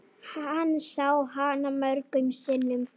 Hann sá hana mörgum sinnum.